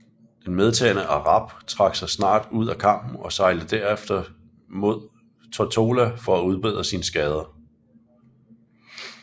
Den medtagne Arab trak sig snart ud af kampen og sejlede herefter mod Tortola for at udbedre sine skader